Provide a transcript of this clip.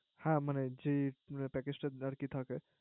হ্যা মানে যে প্যাকেজটা আর কি থাকে